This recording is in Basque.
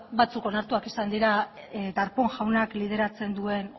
batzuk onartuak izan dira darpón jaunak lideratzen duen